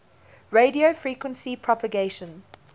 radio frequency propagation